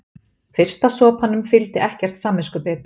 Fyrsta sopanum fylgdi ekkert samviskubit.